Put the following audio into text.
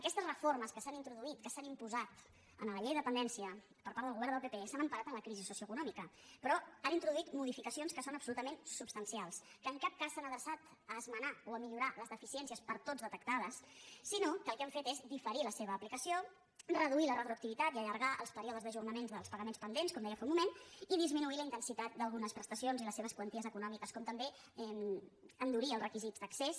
aquestes reformes que s’han introduït que s’han imposat en la llei de dependència per part del govern del pp s’han emparat en la crisi socioeconòmica però han introduït modificacions que són absolutament substancials que en cap cas s’han adreçat a esmenar o a millorar les deficiències per tots detectades sinó que el que han fet és diferir la seva aplicació reduir la retroactivitat i allargar els períodes d’ajornament dels pagaments pendents com deia fa un moment i disminuir la intensitat d’algunes prestacions i les seves quanties econòmiques com també endurir els requisits d’accés